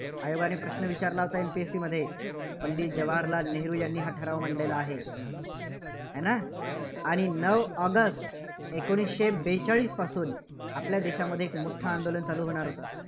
आयोगाने प्रश्न विचारला होता MPSC मध्ये. पंडित जवाहरलाल नेहरू यांनी हा ठराव मांडलेला आहे. आणि नऊ ऑगस्ट एकोणीसशे बेचाळीसपासून आपल्या देशामध्ये एक मोठं आंदोलन चालू होणार होतं.